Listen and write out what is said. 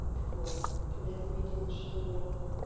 так вот когда я заметила что